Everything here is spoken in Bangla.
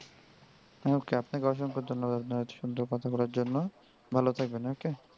হ্যা okay আপনাকে অসংখ্য ধন্যবাদ এতো সুন্দর কথা বলার জন্য ভালো থাকবেন okay.